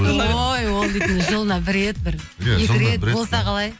ой ол дейтін жылына бір рет бір екі рет болса қалай